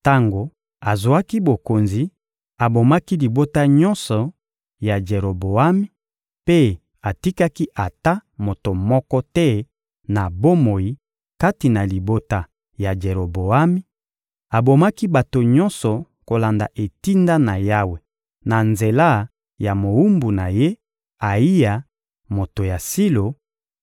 Tango azwaki bokonzi, abomaki libota nyonso ya Jeroboami mpe atikaki ata moto moko te na bomoi kati na libota ya Jeroboami: abomaki bato nyonso kolanda etinda na Yawe na nzela ya mowumbu na ye, Ayiya, moto ya Silo,